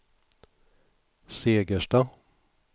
Segersta